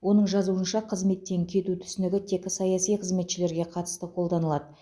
оның жазуынша қызметтен кету түсінігі тек саяси қызметшілерге қатысты қолданылады